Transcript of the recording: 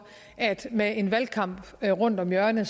at med en valgkamp rundt om hjørnet